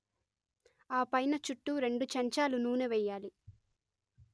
ఆ పైన చుట్టూ రెండు చెంచాలు నూనె వెయ్యాలి